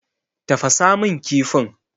Tafasa min kifin.